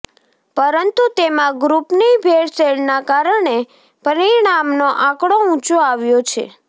પરંતુ તેમાં ગ્રુપની ભેળસેળના કારણે પરિણામનો આંકડો ઉંચો આવ્યો છે